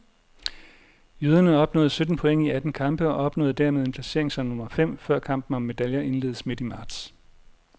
Jyderne opnåede sytten point i atten kampe og opnåede dermed en placering som nummer fem, før kampen om medaljer indledes midt i marts.